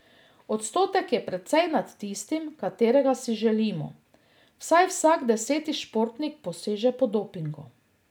Odstotek je precej nad tistim, katerega si želimo, vsaj vsak deseti športnik poseže po dopingu.